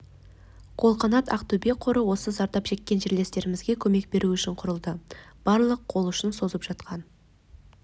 қолғанат ақтөбе қоры осы зардап шеккен жерлестерімізге көмек беру үшін құрылды барлық қол ұшын созып жатқан